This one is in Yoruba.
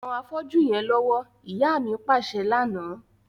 Ran afọ́jú yẹn lọwọ, ìyá mi paṣẹ lana.